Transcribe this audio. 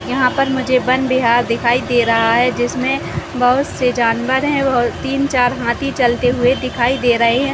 यहाँ पर मुझे वन बिहार दिखाई दे रहा है जिसमे बहुत से जानवर है और तीन-चार हाथी चलते हुए दिखाई दे रहे है।